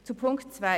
Zu Ziffer 2: